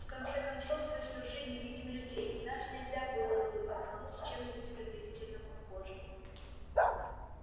в конце концов мы всю жизнь видим людей и нас нельзя было бы обмануть чем-нибудь приблизительно похожим